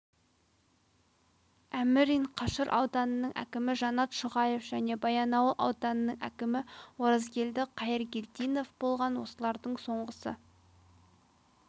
әмірин қашыр ауданының әкімі жанат шұғаев және баянауыл ауданының әкімі оразгелді қайыргелдинов болған осылардың соңғысы